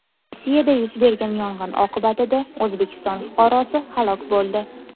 Rossiyada yuz bergan yong‘in oqibatida O‘zbekiston fuqarosi halok bo‘ldi.